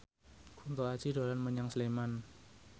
Kunto Aji dolan menyang Sleman